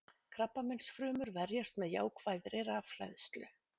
Krabbameinsfrumur verjast með jákvæðri rafhleðslu.